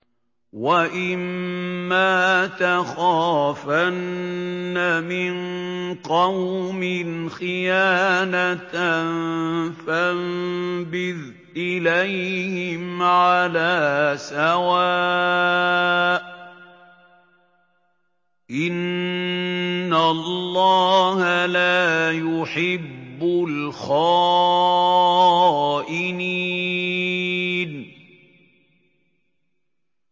وَإِمَّا تَخَافَنَّ مِن قَوْمٍ خِيَانَةً فَانبِذْ إِلَيْهِمْ عَلَىٰ سَوَاءٍ ۚ إِنَّ اللَّهَ لَا يُحِبُّ الْخَائِنِينَ